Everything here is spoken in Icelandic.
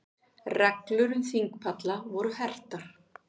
Reglur um þingpalla voru hertar